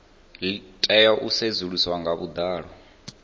tea u sedzuluswa nga vhuḓalo